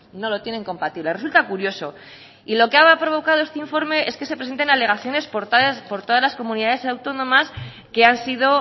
no lo tienen compatible resulta curioso y lo que ha provocado este informe es que se presenten alegaciones por todas las comunidades autónomas que han sido